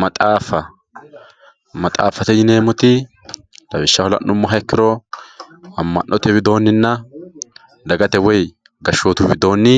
maxaaffa maxaaffate yineemmoti lawishshaho la'nummoha ikkiro amma'note widoonninna dagate woy gashshootu widoonni